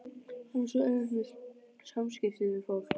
Hann á svo auðvelt með samskipti við fólk.